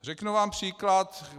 Řeknu vám příklad.